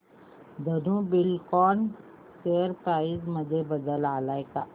Dhenu Buildcon share price मध्ये बदल आलाय का